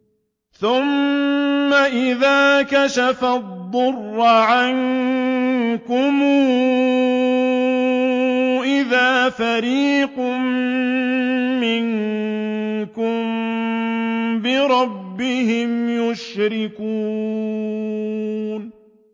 ثُمَّ إِذَا كَشَفَ الضُّرَّ عَنكُمْ إِذَا فَرِيقٌ مِّنكُم بِرَبِّهِمْ يُشْرِكُونَ